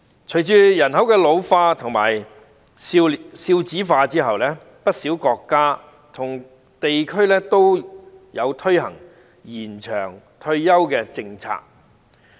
隨着人口老化和少子化，不少國家和地區均推行延長退休的政策。